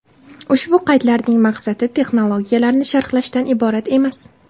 Ushbu qaydlarning maqsadi texnologiyalarni sharhlashdan iborat emas.